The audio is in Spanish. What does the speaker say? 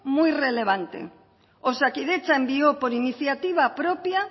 muy relevante osakidetza envió por iniciativa propia